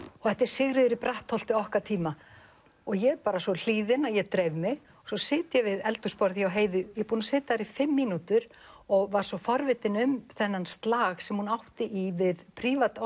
þetta er Sigríður í Brattholti okkar tíma ég er bara svo hlýðin að ég dreif mig svo sit ég við eldhúsborðið hjá Heiðu ég er búin að sitja þar í fimm mínútur og var svo forvitin um þennan slag sem hún átti í við